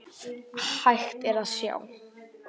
Hægt er að sjá